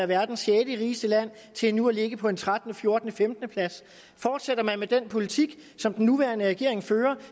verdens rigeste lande til nu at ligge på en trettende fjortende femtendeplads fortsætter man med den politik som den nuværende regering fører vil